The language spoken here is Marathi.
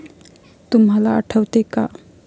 तुम्हाला आठवते का?